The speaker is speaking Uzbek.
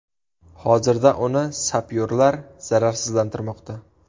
Hozirda uni sapyorlar zararsizlantirmoqda.